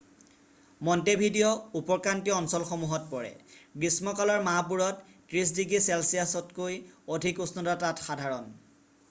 Montevideo উপক্ৰান্তীয় অঞ্চলসমূহত পৰে গ্ৰীষ্ম কালৰ মাহবোৰত 30° চেলচিয়াছতকৈ অধিক উষ্ণতা তাত সাধাৰণ